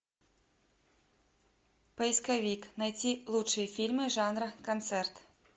поисковик найти лучшие фильмы жанра концерт